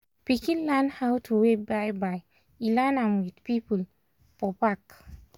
pikin learn how to wave bye-bye e learn m with people for park